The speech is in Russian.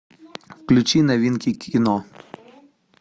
включи новинки кино